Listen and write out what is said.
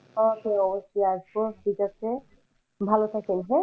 অবশ্যই অবশ্যই আসবো, ঠিক আছে ভালো থাকেন হ্যাঁ।